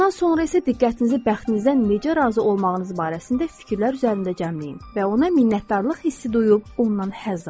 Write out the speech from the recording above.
Bundan sonra isə diqqətinizi bəxtinizdən necə razı olmağınız barəsində fikirlər üzərində cəmləyin və ona minnətdarlıq hissi duyub ondan həzz alın.